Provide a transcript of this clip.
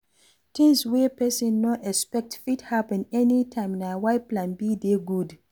Things wey person no expect fit happen any time na why plan B dey good